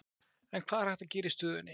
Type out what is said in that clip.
En hvað er hægt að gera í stöðunni?